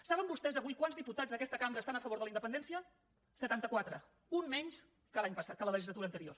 saben vostès avui quants diputats d’aquesta cambra estan a favor de la independència setanta quatre un menys que la legislatura anterior